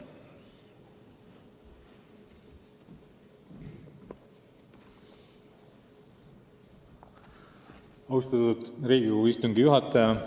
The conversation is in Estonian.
Austatud Riigikogu istungi juhataja!